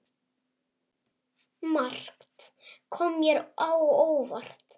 Margt kom mér á óvart.